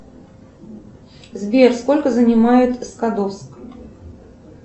сбер сколько занимает скадовск